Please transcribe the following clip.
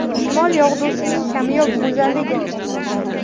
Shimol yog‘dusining kamyob go‘zalligi.